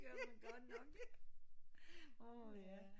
Det var nu godt nok åh ja